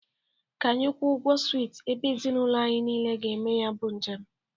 Ka anyị kwọ ụgwọ swịt ebe ezinaụlọ anyị niile ga-eme ya bụ njem.